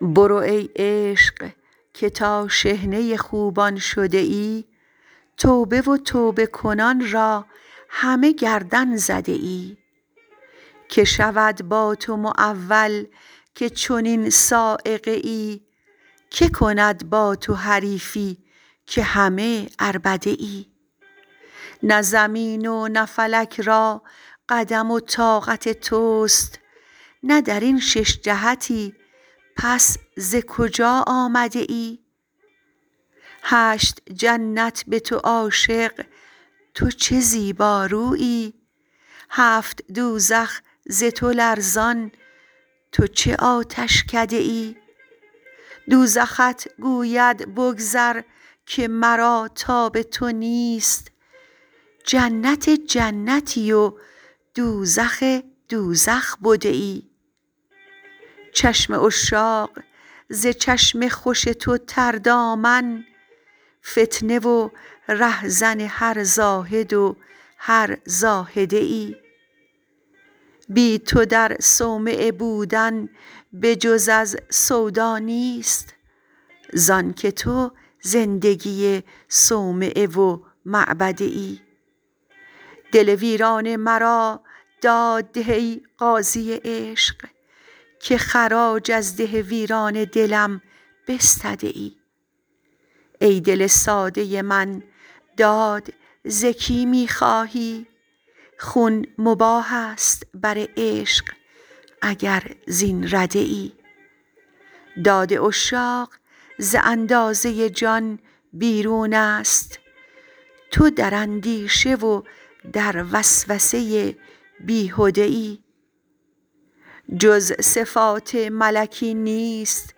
برو ای عشق که تا شحنه خوبان شده ای توبه و توبه کنان را همه گردن زده ای کی شود با تو معول که چنین صاعقه ای کی کند با تو حریفی که همه عربده ای نی زمین و نه فلک را قدم و طاقت توست نه در این شش جهتی پس ز کجا آمده ای هشت جنت به تو عاشق تو چه زیبا رویی هفت دوزخ ز تو لرزان تو چه آتشکده ای دوزخت گوید بگذر که مرا تاب تو نیست جنت جنتی و دوزخ دوزخ بده ای چشم عشاق ز چشم خوش تو تردامن فتنه و رهزن هر زاهد و هر زاهده ای بی تو در صومعه بودن به جز از سودا نیست ز آنک تو زندگی صومعه و معبده ای دل ویران مرا داد ده ای قاضی عشق که خراج از ده ویران دلم بستده ای ای دل ساده من داد ز کی می خواهی خون مباح است بر عشق اگر زین رده ای داد عشاق ز اندازه جان بیرون است تو در اندیشه و در وسوسه بیهده ای جز صفات ملکی نیست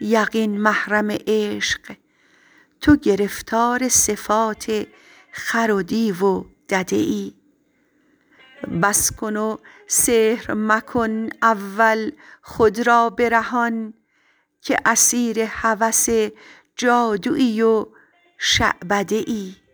یقین محرم عشق تو گرفتار صفات خر و دیو و دده ای بس کن و سحر مکن اول خود را برهان که اسیر هوس جادویی و شعبده ای